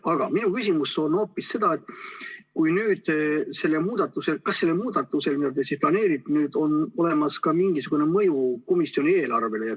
Aga mu küsimus on hoopis selle kohta, kas sellel muudatusel, mida te nüüd planeerite, on olemas ka mingisugune mõju komisjoni eelarvele.